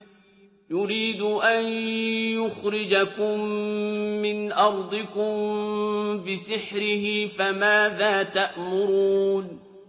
يُرِيدُ أَن يُخْرِجَكُم مِّنْ أَرْضِكُم بِسِحْرِهِ فَمَاذَا تَأْمُرُونَ